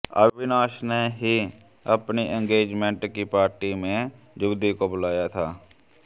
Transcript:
अविनाश ने ही अपनी एंगेजमेंट की पार्टी में युवती को बुलाया था